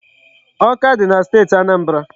Awka dị na Steeti Anambra.